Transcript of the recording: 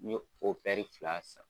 N ye o pɛri fila san.